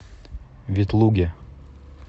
ветлуге